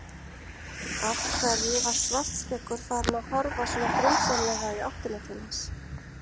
Af hverju var Svartskeggur farinn að horfa svona grunsamlega í áttina til hans?